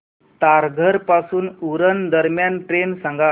तारघर पासून उरण दरम्यान ट्रेन सांगा